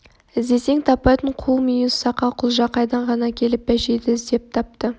іздесең таппайтын қу мүйіз сақа құлжа қайдан ғана келіп бәшейді іздеп тапты